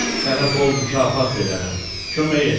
Sənə bol mükafat verərəm, kömək elə.